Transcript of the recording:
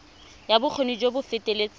ya bokgoni jo bo feteletseng